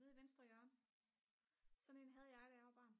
nede i venstre hjørne sådan en havde jeg da jeg var barn